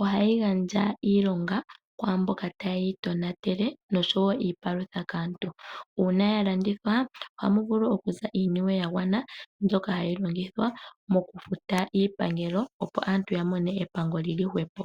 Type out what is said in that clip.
ohayi gandja iilonga kwaamboka taye yi tonatele noshowo iipalutha kaantu. Uuna ya landithwa oha mu vulu okuza iiniwe ya gwana mbyoka hayi longithwa mokufuta iipangelo opo aantu ya mone epango li li hwepo.